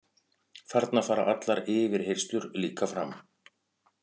Þarna fara allar yfirheyrslur líka fram